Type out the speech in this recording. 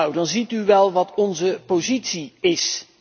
Nou, dan begrijpt u wel wat onze positie is.